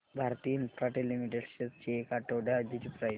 Bharti Infratel limited shares ची एक आठवड्या आधीची प्राइस